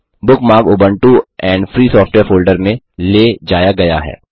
bookmark Ubuntu and free software folder में ले जाया गया है